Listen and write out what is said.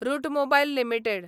route Mobile limited